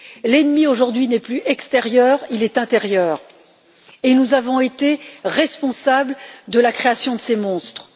L'ennemi, aujourd'hui, n'est plus extérieur, il est intérieur et nous avons été responsables de la création de ces monstres.